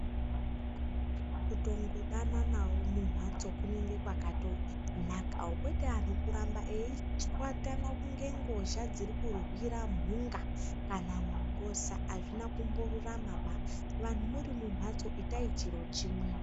Kutongodananawo mumhatso kunenge kwatonaka kwete antu kuramba eitswatana kunge ngozha dziri kurwira mhunga kana mungosa hazvina kumborurama baa vantu muri mumhatso itai chiro chimwe.